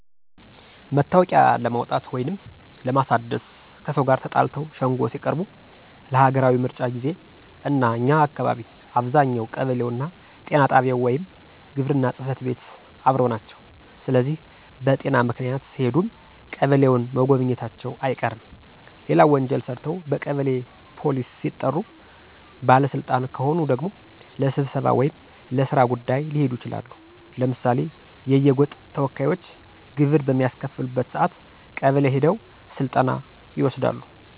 መታወቂያ ለማውጣት ወይንም ለማሳደስ፣ ከሰው ጋር ተጣልተው ሸንጎ ሲቀርቡ፣ ለሀገራዊ ምርጫ ጊዜ፣ እና እኛ አካባቢ አብዛኛው ቀበሌውና ጤና ጣቢያው ወይም ግብርና ጽፈት ቤት አብረው ናቸው ስለዚህ በጤና ምክንያት ሲሄዱም ቀበሌውን መጎብኘታቸው አይቀርም። ሌላው ወንጀል ሰርተው በቀበሌ ፖሊስ ሲጠሩ፣ ባለ ስልጣን ከሆኑ ደግሞ ለስብሰባ ወይም ለስራ ጉዳይ ሊሄዱ ይችላሉ። ለምሳሌ የየጎጥ ተወካዮች ግብር በሚያስከፍሉበት ሰአት ቀበሌ ሄደው ስልጠና ይወስዳሉ።